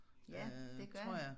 Ja det gør han